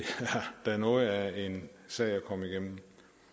da noget af en sag at komme igennem